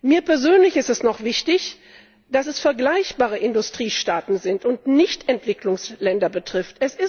Mir persönlich ist es noch wichtig, dass es vergleichbare Industriestaaten sind und es nicht Entwicklungsländer betrifft.